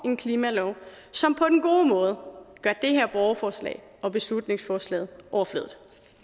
en klimalov som på den gode måde gør det her borgerforslag og beslutningsforslaget overflødigt